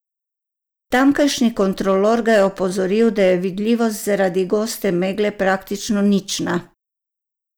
Tamkajšnji kontrolor ga je opozoril, da je vidljivost zaradi goste megle praktično nična.